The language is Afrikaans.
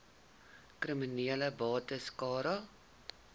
kriminele bates cara